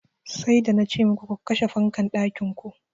Sai da nace muku ku kashe fankan ɗakin ku.